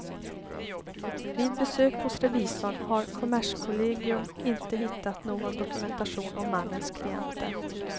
Vid besök hos revisorn har kommerskollegium inte hittat någon dokumentation om mannens klienter.